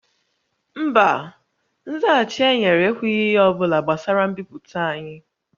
Mba, nzaghachi e nyere ekwughị ihe ọ bụla gbasara mbipụta anyị